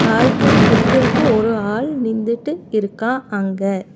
காய்கறி விக்கிருக்கு ஒரு ஆள் நிந்ட்டு இருக்கா அங்க.